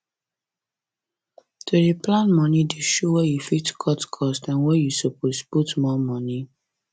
to dey plan moni dey show where you fit cut cost and where you suppose put more money